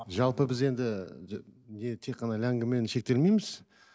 жалпы біз енді тек қана ләңгімен шектелмейміз